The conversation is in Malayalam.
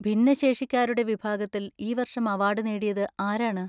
ഭിന്നശേഷിക്കാരുടെ വിഭാഗത്തിൽ ഈ വർഷം അവാർഡ് നേടിയത് ആരാണ്?